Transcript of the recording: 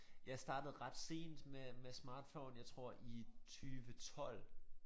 Jeg startede ret sent med med smartphone jeg tror i 20 12